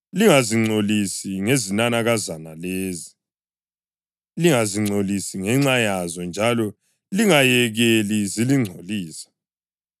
Lingazingcolisi ngezinanakazana lezi, lingazingcolisi ngenxa yazo njalo lingayekeli zilingcolisa.